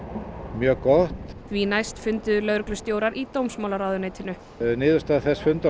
mjög gott því næst funduðu lögreglustjórar í dómsmálaráðuneytinu niðurstaða þess fundar